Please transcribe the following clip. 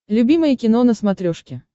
любимое кино на смотрешке